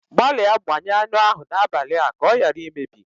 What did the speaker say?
Gbalịa gbanye anụ ahụ n'abalị a ka ọ ghara imebi